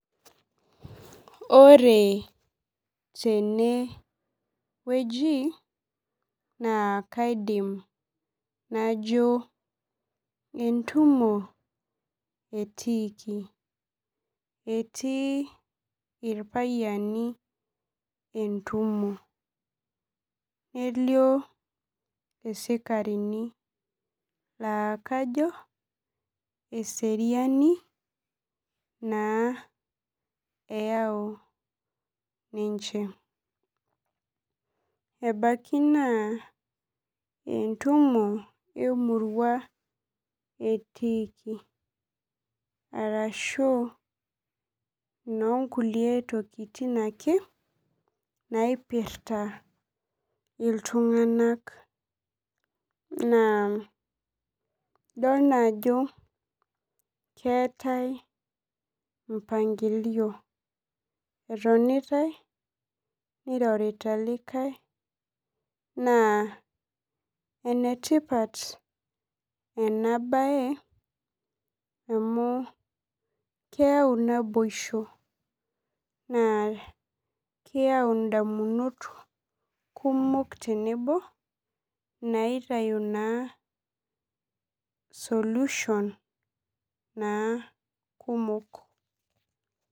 Ore tene wueji naa kaidim najo entumo etiiki etii irpayiani entumo nelio isikarini laa kajo eseriani naa eyau ninche ebaki naa entumo emurua etiiki arashu nonkulie tokitin ake naipirta iltung'anak naa idol naa ajo keetae mpangilio etonitae nirorita likae naa enetipat ena baye amu keau naboisho naa keyau indamunot kumok tenebo naitau naa solution naa kumok.